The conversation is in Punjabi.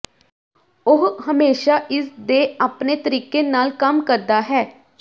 ਉਹ ਹਮੇਸ਼ਾ ਇਸ ਦੇ ਆਪਣੇ ਤਰੀਕੇ ਨਾਲ ਕੰਮ ਕਰਦਾ ਹੈ